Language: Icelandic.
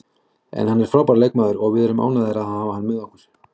En hann er frábær leikmaður og við erum ánægðir með að hafa hann með okkur.